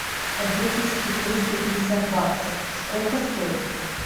две тысячи триста пятьдесят баксов сколько стоит